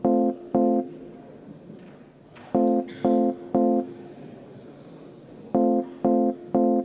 Eelnõu 520 kohta esitatud muudatusettepanekud on teiega koos läbi vaadatud.